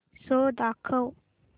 show दाखव